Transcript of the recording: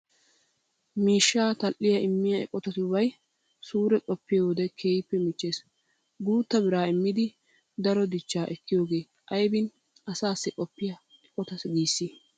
Miishshaa tal"iya immiya eqotatubay suure qoppiyo wode keehippe michchees. Guutta biraa immidi daruwa dichchaa ekkiyogee aybin asaassi qoopiya eqota giissii?